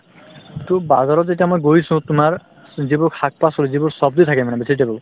to bazar ত যেতিয়া মই গৈছো তোমাৰ যিবোৰ শাক-পাচলি যিবোৰ ছব্জি থাকে মানে vegetable